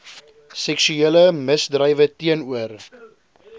seksuele misdrywe teenoor